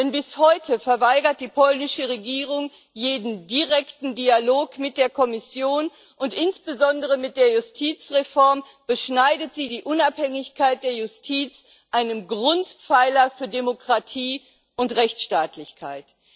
Denn bis heute verweigert die polnische Regierung jeden direkten Dialog mit der Kommission, und insbesondere mit der Justizreform beschneidet sie die Unabhängigkeit der Justiz, einen Grundpfeiler für Demokratie und Rechtsstaatlichkeit.